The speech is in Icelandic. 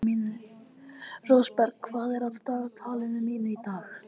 Rósberg, hvað er á dagatalinu mínu í dag?